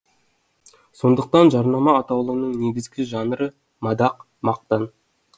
сондықтан жарнама атаулының негізгі жанры мадақ мақтан